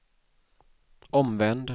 omvänd